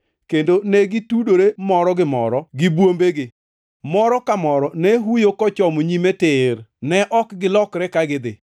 kendo ne gitudore moro gi moro gi bwombegi. Moro ka moro ne huyo kochomo nyime tir; ne ok gilokre ka gidhi.